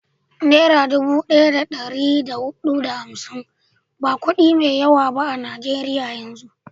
Nera dubu daya da dari da hudu da hamsin ba kudi mai yawa ba a najeriyan yanzu